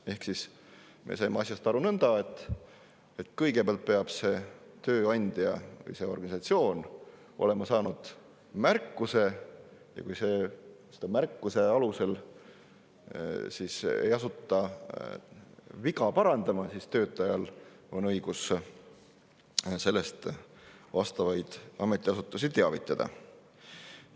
Ehk me saime asjast aru nõnda, et kõigepealt peab tööandja või see organisatsioon olema saanud märkuse, ja kui selle märkuse alusel ei asuta viga parandama, siis on töötajal õigus sellest vastavaid ametiasutusi teavitada.